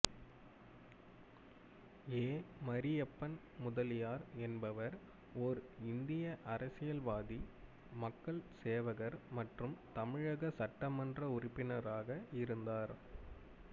ஏ மரியப்பன் முதலியார் என்பவர் ஓர் இந்திய அரசியல்வாதி மக்கள் சேவகர் மற்றும் தமிழக சட்டமன்ற உறுப்பினராக இருந்தார்